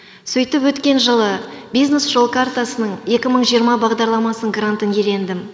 сөйтіп өткен жылы бизнес жол картасының екі мың жиырма бағдарламасының грантын иелендім